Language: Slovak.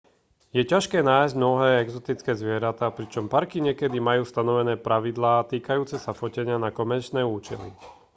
je ťažké nájsť mnohé exotické zvieratá pričom parky niekedy majú stanovené pravidlá týkajúce sa fotenia na komerčné účely